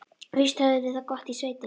Víst höfðum við það gott í sveitinni.